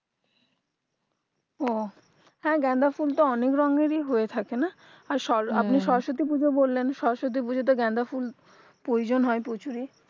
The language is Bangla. ও হ্যাঁ গাঁদা ফুল তো অনেক রঙেরই হয়ে থাকে না আর সরো আপনি সরস্বতী পূজো বললেন সরস্বতী পূজোতে গাঁদাফুল প্রয়োজন হয় প্রচুরই